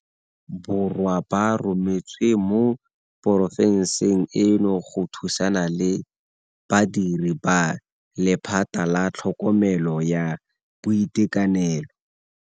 Borwa ba rometswe mo porofenseng eno go thusana le badiri ba lephata la tlhokomelo ya boitekanelo.